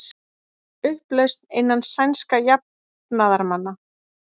Upplausn innan sænskra jafnaðarmanna